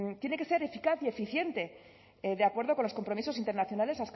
tiene que ser eficaz y eficiente de acuerdo con los compromisos internacionales